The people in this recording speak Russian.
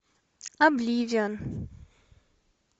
обливион